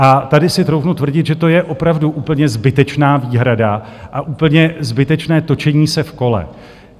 A tady si troufnu tvrdit, že to je opravdu úplně zbytečná výhrada a úplně zbytečné točení se v kole.